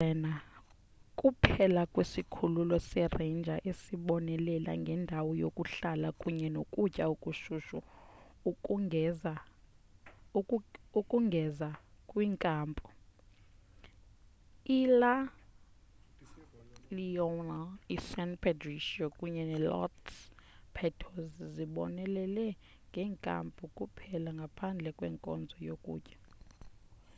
isirena kuphela kwesikhululo seranger esibonelela ngendawo yokuhlala kunye nokutya okushushu ukongeza kwinkampu ila leona isan pedrillo kunye nelos patos zibonelela ngeenkampu kuphela ngaphandle kwenkonzo yokutya